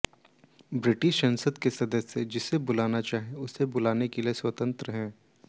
British संसद के सदस्य जिसे बुलाना चाहें उसे बुलाने के लिए स्वतंत्र हैं